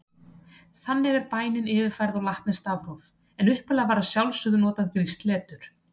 Þannig er bænin yfirfærð á latneskt stafróf, en upphaflega var að sjálfsögðu notað grískt letur: